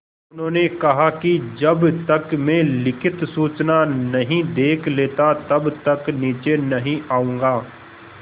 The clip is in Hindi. उन्होंने कहा कि जब तक मैं लिखित सूचना नहीं देख लेता तब तक नीचे नहीं आऊँगा